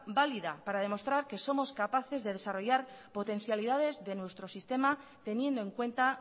válida para demostrar que somos capaces de desarrollar potencialidades de nuestro sistema teniendo en cuenta